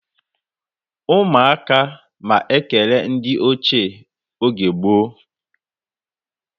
Umu aka ma ekere ndi oche oge gboo